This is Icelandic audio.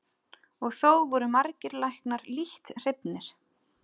Og þó voru margir læknar lítt hrifnir.